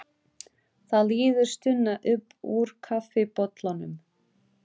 Það líður stuna upp úr kaffibollanum.